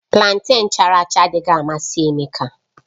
Planten chara acha adịghị amasị Emeka